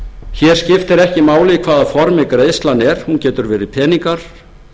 hér skiptir ekki máli í hvaða formi greiðslan er hún getur verið peningar